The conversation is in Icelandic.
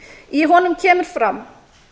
í honum kemur fram